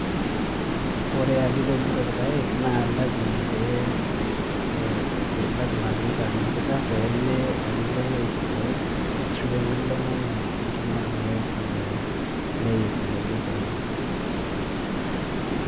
Ore ake pipej irpaek naa lasima pee itaniki pemelo nemeik irpaek ashu pemelo nenya enkima lelo paek neiku.